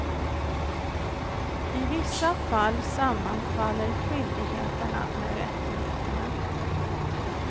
I vissa fall sammanfaller skyldigheterna med rättigheterna.